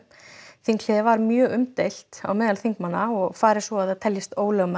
þinghléið var mjög umdeilt meðal þingmanna og fari svo að það teljist ólögmætt